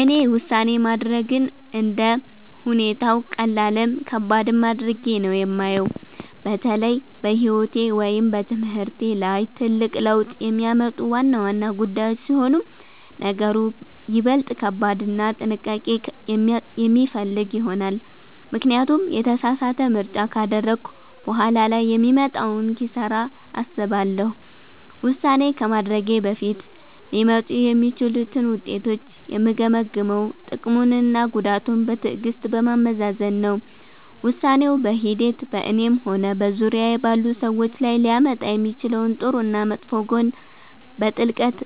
እኔ ውሳኔ ማድረግን እንደ ሁኔታው ቀላልም ከባድም አድርጌ ነው የማየው። በተለይ በሕይወቴ ወይም በትምህርቴ ላይ ትልቅ ለውጥ የሚያመጡ ዋና ዋና ጉዳዮች ሲሆኑ ነገሩ ይበልጥ ከባድና ጥንቃቄ የሚፈልግ ይሆናል፤ ምክንያቱም የተሳሳተ ምርጫ ካደረግኩ በኋላ ላይ የሚመጣውን ኪሳራ አስባለሁ። ውሳኔ ከማድረጌ በፊት ሊመጡ የሚችሉትን ውጤቶች የምገመግመው ጥቅሙንና ጉዳቱን በትዕግሥት በማመዛዘን ነው። ውሳኔው በሂደት በእኔም ሆነ በዙሪያዬ ባሉ ሰዎች ላይ ሊያመጣ የሚችለውን ጥሩና መጥፎ ጎን በጥልቀት